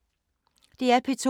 DR P2